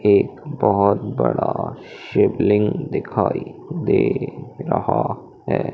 एक बहोत बड़ा शिवलिंग दिखाई दे रहा है।